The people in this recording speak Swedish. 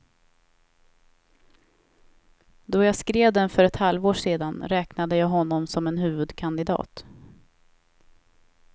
Då jag skrev den för ett halvår sedan räknade jag honom som en huvudkandidat.